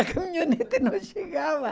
A caminhonete não chegava.